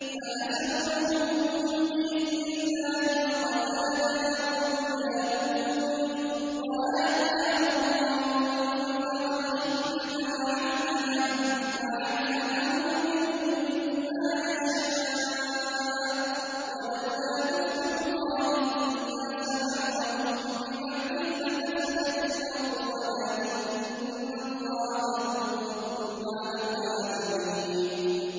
فَهَزَمُوهُم بِإِذْنِ اللَّهِ وَقَتَلَ دَاوُودُ جَالُوتَ وَآتَاهُ اللَّهُ الْمُلْكَ وَالْحِكْمَةَ وَعَلَّمَهُ مِمَّا يَشَاءُ ۗ وَلَوْلَا دَفْعُ اللَّهِ النَّاسَ بَعْضَهُم بِبَعْضٍ لَّفَسَدَتِ الْأَرْضُ وَلَٰكِنَّ اللَّهَ ذُو فَضْلٍ عَلَى الْعَالَمِينَ